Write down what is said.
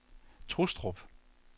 Trustrup